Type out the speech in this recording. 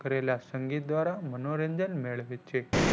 કરેલા સંગીત દ્વારા મનોરંજન મેળવે છે.